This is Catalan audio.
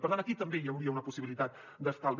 per tant aquí també hi hauria una possibilitat d’estalvi